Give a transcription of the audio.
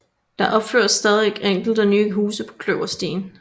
Der opføres stadig enkelte nye huse på Kløverstien